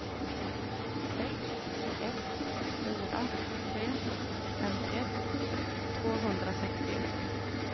sex ett fyra tre femtioett tvåhundrasextioett